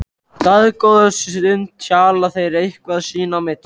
Dágóða stund hjala þeir eitthvað sín á milli.